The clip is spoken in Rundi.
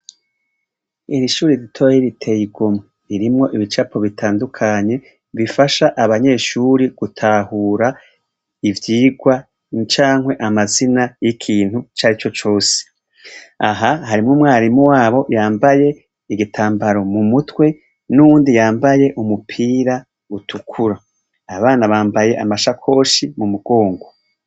Iri shuri ritoyi riteye igomwe ririmwo ibicapo bitandukanye bifasha abanyeshuri gutahura ivyigwa cankwe amazina y'ikintu icari co cose, aha harimwo umwarimu wabo yambaye igitambaro mu mutwe n'uwundi yambaye umupira utukura, abana bambaye amashakoshi mu mugongo.